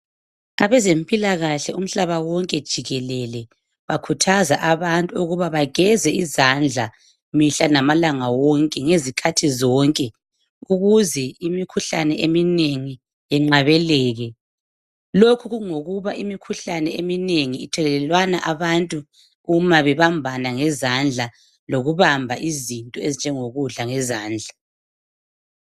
Abezempilakahle umhlaba wonke jikelele, bakhuthaza abantu ukuba bageze izandla, mihla, lamalanga wonke, ngezikhathi zonke. Ukuze imikhuhlane eminengi yenqabeleke. Lokhu kungokuba imikhuhlane eminengi ithekelwanwa nxa abantu bebambana ngezandla. Kumbe bebamba, izinto ezinjengokudka ngezandla.